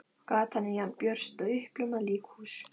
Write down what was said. Gatan er jafn björt og uppljómað líkhús.